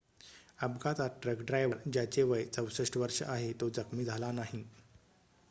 अपघातात truck driver ज्याचे वय 64 वर्ष आहे तो जखमी झाला नाही